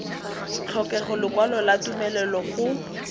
tlhokega lekwalo la tumelelo go